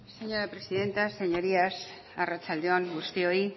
señora presidenta señorías arratsalde on guztioi